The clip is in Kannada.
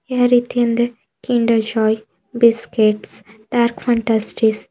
ಯಾವ ರೀತಿ ಅಂದ್ರೆ Kinder Joy biscuit Dark Fantasy --